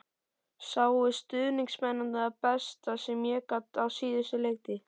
Sáu stuðningsmennirnir það besta sem ég get á síðustu leiktíð?